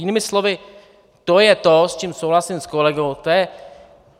Jinými slovy, to je to, v čem souhlasím s kolegou.